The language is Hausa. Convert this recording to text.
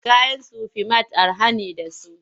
Kayan Sufi mat araha ne da su.